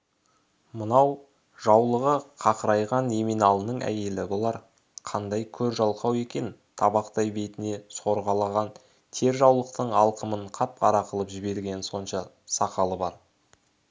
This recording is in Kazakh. мынау жаулығы қақырайған еменалының әйелі болар қандай көр-жалқау екен табақтай бетінен сорғалаған тер жаулықтың алқымын қап-қара қылып жібергені сонша сақалы бар